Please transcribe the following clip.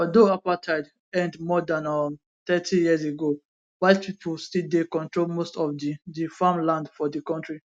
although apartheid end more dan um thirty years ago white pipo still dey control most of di di farm land for di kontri